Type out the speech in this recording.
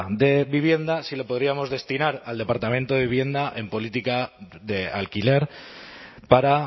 de vivienda si lo podríamos destinar al departamento de vivienda en política de alquiler para